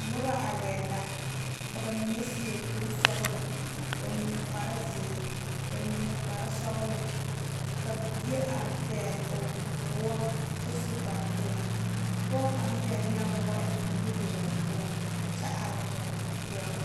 Noba are la ka bamine seɛ kuri sɔglɔ, bamine kpare ziiri, bamine kpare sɔglɔ ka bie are pegle o woɔ kyɛ su kpare pelaa pɔge kaŋ pegle la woɔ eŋ o nudoluŋ poɔ kyɛ are kɔŋ dɔɔ.